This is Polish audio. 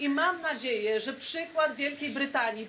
Mam nadzieję, że przykład Wielkiej Brytanii,